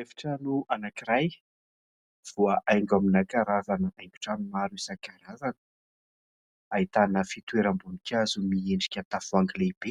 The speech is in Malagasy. Efitrano anankiray voahaingo amina karazana haingon-trano maro isankarazany. Ahitana fitoeram-boninkazo miendrika tavoahangy lehibe,